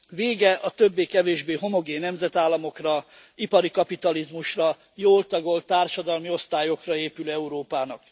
Vége a többé kevésbé homogén nemzetállamokra, ipari kapitalizmusra, jól tagolt társadalomi osztályokra épülő Európának.